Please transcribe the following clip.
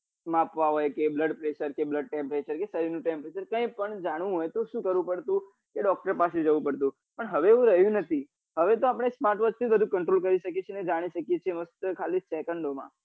માપવા હોય કે blood pressure છે blood temperature કે શરીંર નું temperature છે કઈ પણ જાણવું હોય તો શું કરવું પડતું કે doctor પાસે જવું પડતું પણ હવે એવું રહ્યું નથી હવે તો આપડે smart watch થી જ બધું control કરી શકીએ છીએ જાની શકીએ છીએ ખાલી second માં